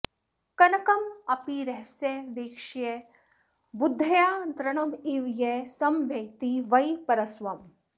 कनकमपि रहस्यवेक्ष्य बुद्ध्या तृणमिव यः समवैति वै परस्वम्